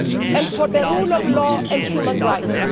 and for the rule of law and human rights.